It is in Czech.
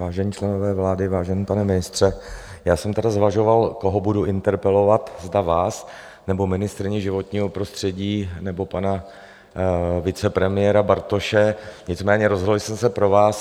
Vážení členové vlády, vážený pane ministře, já jsem tedy zvažoval, koho budu interpelovat, zda vás, nebo ministryni životního prostředí, nebo pana vicepremiéra Bartoše, nicméně rozhodl jsem se pro vás.